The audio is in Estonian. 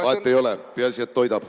Vahet ei ole, peaasi, et toidab.